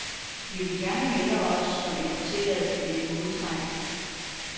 Vi vil gerne melde os som interesserede i et modtræk.